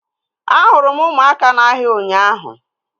Ahụrụ m Ụkamaka na-ahịa ụnyaahụ